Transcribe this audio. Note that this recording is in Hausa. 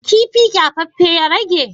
kifi kyafaffen ya rage?